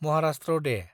Maharashtra Day